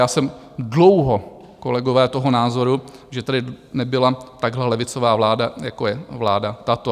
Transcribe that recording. Já jsem dlouho, kolegové, toho názoru, že tady nebyla takhle levicová vláda, jako je vláda tato.